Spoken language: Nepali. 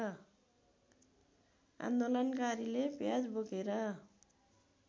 आन्दोलनकारीले प्याज बोकेर